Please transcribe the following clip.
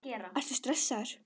Erla: Ertu stressaður?